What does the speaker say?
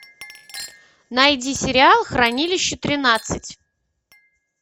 найди сериал хранилище тринадцать